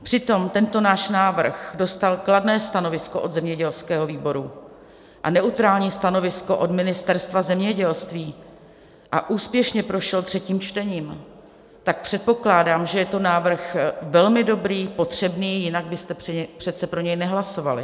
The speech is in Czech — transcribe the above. Přitom tento náš návrh dostal kladné stanovisko od zemědělského výboru a neutrální stanovisko od Ministerstva zemědělství a úspěšně prošel třetím čtením, tak předpokládám, že je to návrh velmi dobrý, potřebný, jinak byste přece pro něj nehlasovali.